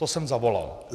To jsem zavolal.